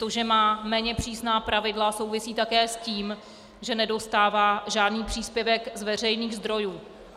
To, že má méně přísná pravidla, souvisí také s tím, že nedostává žádný příspěvek z veřejných zdrojů.